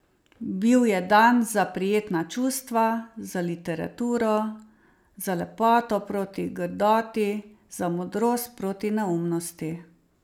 Bil je dan za prijetna čustva, za literaturo, za lepoto proti grdoti, za modrost proti neumnosti.